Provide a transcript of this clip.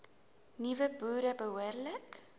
nuwe boere behoorlik